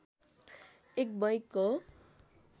एक बैक हो